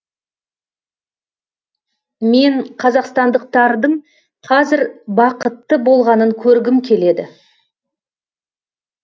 мен қазақстандықтардың қазір бақытты болғанын көргім келеді